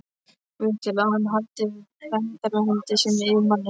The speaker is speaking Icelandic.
Guð til að hann haldi verndarhendi sinni yfir manni?